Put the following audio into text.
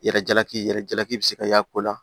Yɛrɛ jalaki yɛrɛ jalaki bi se ka y'a ko la